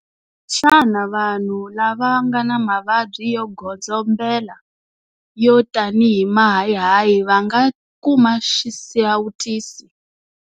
Xana vanhu lava nga na mavabyi yo godzombela, yo tanihi mahayihayi, va nga kuma xisawutisi?